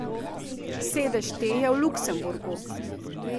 Sedež te je v Luksemburgu.